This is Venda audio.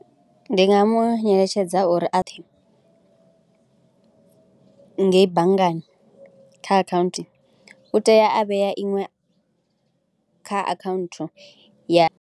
Ndi nga mu eletshedza uri a ḓe ngei banngani kha akhaunthu u tea a vhea iṅwe kha akhaunthu ya.